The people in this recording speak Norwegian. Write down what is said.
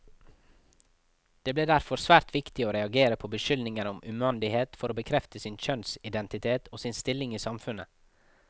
Det ble derfor svært viktig å reagere på beskyldninger om umandighet for å bekrefte sin kjønnsidentitet, og sin stilling i samfunnet.